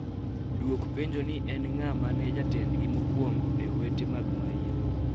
Duok penjo ni en ng'a mane jatendgi mokuongo e owete mag maio